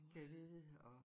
Gad vide og